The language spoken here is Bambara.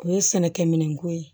O ye sɛnɛkɛ minɛnko ye